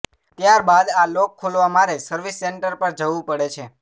ત્યારબાદ આ લોક ખોલવા મારે સર્વિસ સેન્ટર પર જવું પડે છે